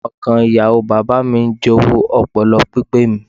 Ọmọ ìkan Ìyàwó bàbáà mi ń jowú ọpọlọ pípé mi.